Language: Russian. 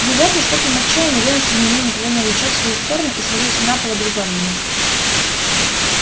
внезапно с воплем отчаяния венус изменил направление луча в свою сторону и свалился на пол обезглавленный